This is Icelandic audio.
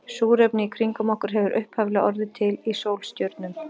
Súrefnið í kringum okkur hefur upphaflega orðið til í sólstjörnum.